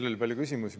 Teil oli palju küsimusi.